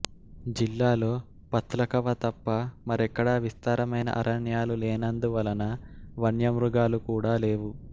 జిల్లాలో పత్లఖవ తప్ప మరెక్కడా విస్తారమైన అరణ్యాలు లేనందువలన వన్యమృగాలు కూడా లేవు